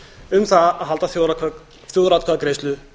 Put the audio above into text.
um það að halda þjóðaratkvæðagreiðslu